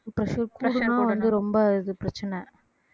pressure கூடினா வந்து ரொம்ப இது பிரச்சனை